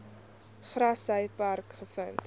grassy park gevind